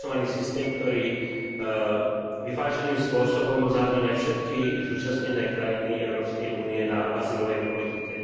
systém, ktorý vyváženým spôsobom zahŕňa všetky zúčastnené krajiny Európskej únie na azylovej politike.